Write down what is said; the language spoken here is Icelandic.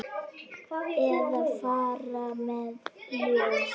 Eða fara með ljóð.